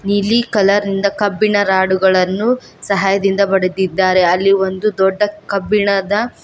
ನೀಲಿ ಕಲರ್ ಇಂದ ಕಬ್ಬಿಣ ರಾಡು ಗಳನ್ನು ಸಹಾಯದಿಂದ ಬಡೆದಿದ್ದಾರೆ ಅಲ್ಲಿ ಒಂದು ದೊಡ್ಡ ಕಬ್ಬಿಣದ --